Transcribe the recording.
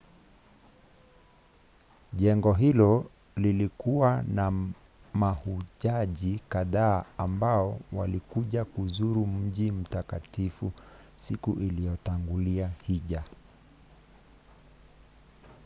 jengo hilo lilikuwa na mahujaji kadhaa ambao walikuja kuzuru mji mtakatifu siku iliyotangulia hija